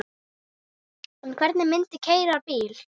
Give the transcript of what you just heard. En hver myndi keyra bílinn?